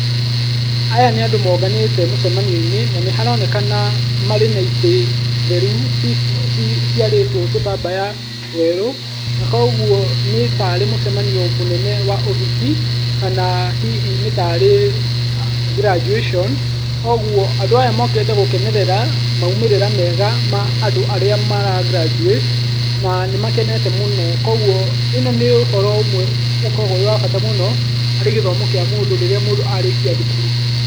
Aya nĩ andũ mũbanĩte mũcemanioĩnĩ na nĩ haronekana marĩ na ĩtĩ theru ciarĩtwe tũtambaya twerũ, na kwoguo nĩtarĩ mũcemanio mũnene wa ũhiki kana hihi nĩtarĩ graduation kwoguo andũ aya mũkĩte gũkenerera maũmĩrĩra mega ma andũ arĩa mara graduate na nĩmakenete mũno, kwoguo ĩno nĩ ũhoro ũmwe ũkoragwo wĩ wa bata mũno harĩ gĩthomo kĩa mũndũ rĩrĩa mũndũ arĩkia thukuru.